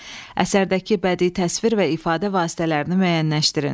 Əsərdəki bədii təsvir və ifadə vasitələrini müəyyənləşdirin.